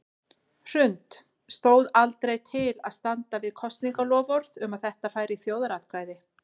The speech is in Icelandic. Hrund: Stóð aldrei til að standa við kosningaloforð um að þetta færi í þjóðaratkvæði?